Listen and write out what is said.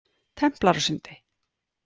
Templarasundi